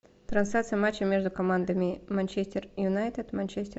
трансляция матча между командами манчестер юнайтед манчестер